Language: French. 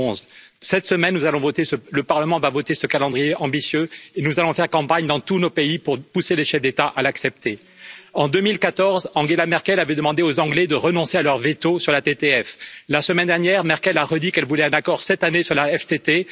2011. Cette semaine, le Parlement va voter ce calendrier ambitieux et nous allons faire campagne dans tous nos pays pour pousser les chefs d'État à l'accepter. En 2014, Angela Merkel avait demandé aux Anglais de renoncer à leur veto sur la TTF. La semaine dernière, Mme Merkel a répété qu'elle voulait un accord cette année sur la TTF.